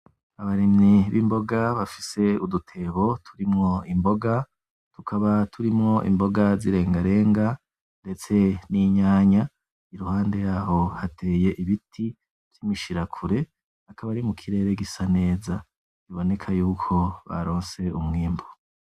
Abarimyi bimboga bafise udutebo turimwo imboga tukaba turimwo imboga zirenga renga, ndetse ninyanya iruhande yaho hateye ibiti vyimishirakure akaba ari mukirere gisa neza biboneka ko baronse umwimbu .